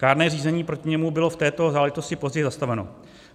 Kárné řízení proti němu bylo v této záležitosti později zastaveno.